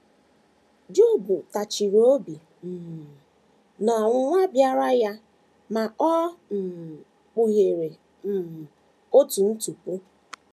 Job tachiri obi um n’ọnwụnwa bịaara ya, ma o um kpughere um otu ntụpọ.